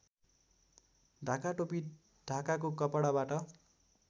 ढाकाटोपी ढाकाको कपडाबाट